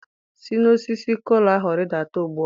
si n'osisi kola ahu ridata ugbua!